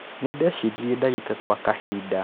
nĩndeciririe ndagĩka gwa kahinda